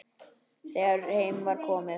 Þegar heim var komið.